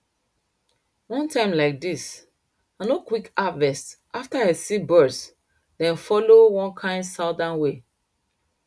one time like dis i no quick harvest after i see birds dem follow one kind southern way